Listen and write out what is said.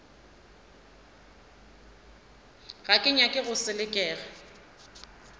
ga ke nyake go selekega